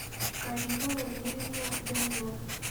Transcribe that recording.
карину валерьевну данилову